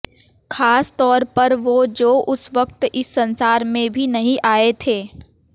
खास तौर पर वो जो उस वक्त इस संसार में भी नहीं आये थे